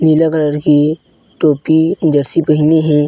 नीला कलर की टोपी जर्सी पहिने हे।